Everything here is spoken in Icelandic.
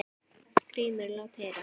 GRÍMUR: Lát heyra!